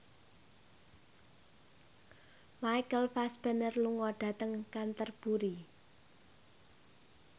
Michael Fassbender lunga dhateng Canterbury